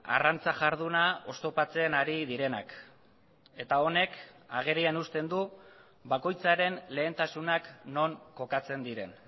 arrantza jarduna oztopatzen ari direnak eta honek agerian uzten du bakoitzaren lehentasunak non kokatzen diren